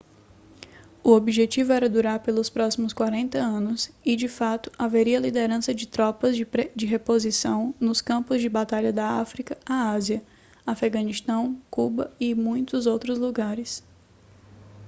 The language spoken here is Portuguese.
o objetivo era durar pelos próximos 40 anos e de fato haveria liderança de tropas de reposição nos campos de batalha da áfrica à ásia afeganistão cuba e muitos outros lugares